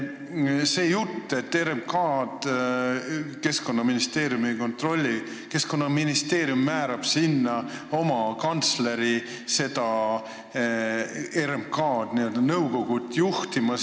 See jutt, et RMK-d Keskkonnaministeerium ei kontrolli – no Keskkonnaministeerium määrab sisuliselt oma kantsleri RMK nõukogu juhtima.